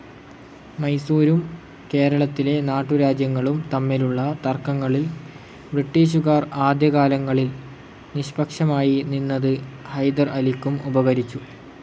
മൈസൂരും കേരളത്തിലെ നാട്ടുരാജ്യങ്ങളും തമ്മിലുള്ള തർക്കങ്ങളിൽ ബ്രിട്ടീഷുകാർ ആദ്യകാലങ്ങളിൽ നിഷ്പഷമായി നിന്നത് ഹൈദർ അലിക്കും ഉപകരിച്ചു.